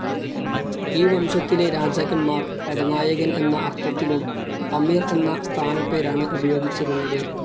ഈ വംശത്തിലെ രാജാക്കന്മാർ, പടനായകൻ എന്ന അർത്ഥത്തിലും അമീർ എന്ന സ്ഥാനപ്പേരാണ് ഉപയോഗിച്ചിരുന്നത്.